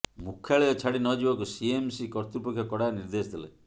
ମୁଖ୍ୟାଳୟ ଛାଡି ନ ଯିବାକୁ ସିଏମସି କର୍ତ୍ତୃପକ୍ଷ କଡା ନିର୍ଦ୍ଦେଶ ଦେଲେ